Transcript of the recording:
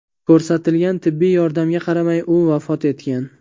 Ko‘rsatilgan tibbiy yordamga qaramay, u vafot etgan.